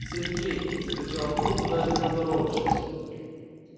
сергей закричал в трубку даже не поздоровавшись